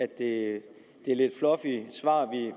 det er lidt fluffy svar